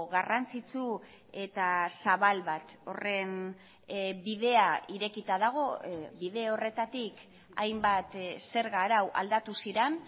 garrantzitsu eta zabal bat horren bidea irekita dago bide horretatik hainbat zerga arau aldatu ziren